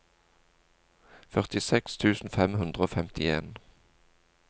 førtiseks tusen fem hundre og femtien